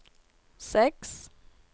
seks